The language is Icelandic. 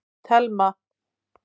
Telma